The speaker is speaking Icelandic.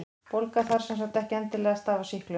Bólga þarf sem sagt ekki endilega að stafa af sýklum.